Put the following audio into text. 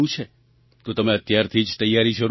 તો તમે અત્યારથી જ તૈયારી શરૂ કરી દો